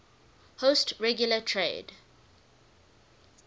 host regular trade